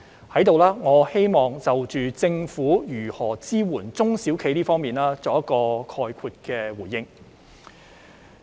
我在此希望就政府如何支援中小企方面作概括的回應。